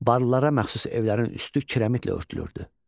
Barlara məxsus evlərin üstü kirəmitlə örtülürdü.